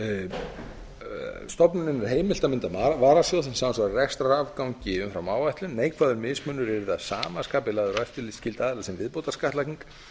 stofnuninni er heimilt að mynda varasjóð sem samsvarar rekstrarafgangi umfram áætlun neikvæður mismunur yrði að sama skapi lagður á eftirlitsskylda aðila sem viðbótarskattlagning